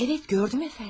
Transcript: Əvət, gördüm əfəndim.